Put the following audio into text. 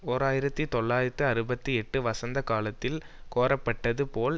ஓர் ஆயிரத்தி தொள்ளாயிரத்து அறுபத்தி எட்டு வசந்த காலத்தில் கோரப்பட்டது போல்